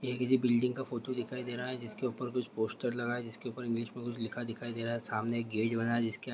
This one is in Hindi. ये किसी बिल्डिंग का फोटो दिखाई दे रहा है जिसके ऊपर कुछ पोस्टर लगा है जिसके ऊपर इंग्लिश में कुछ लिखा दिखाई दे रहा है। सामने गेट बना है जिसके--